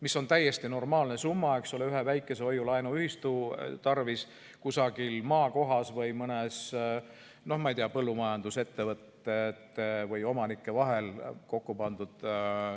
See on täiesti normaalne summa ühe väikese hoiu-laenuühistu tarvis kusagil maakohas või põllumajandusettevõtete või omanike vahel kokku panduna.